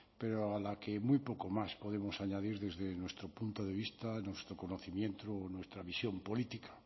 pero a la que muy poco más podemos añadir desde nuestro punto de vista nuestro conocimiento o nuestra visión política